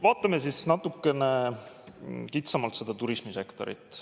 Vaatame natukene kitsamalt turismisektorit.